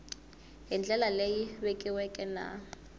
hi ndlela leyi vekiweke na